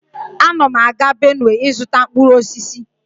Ana m aga Benue ịzụta mkpụrụ osisi